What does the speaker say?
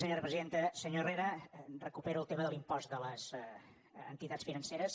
senyor herrera recupero el tema de l’impost de les entitats financeres